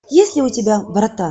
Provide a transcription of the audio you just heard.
есть ли у тебя врата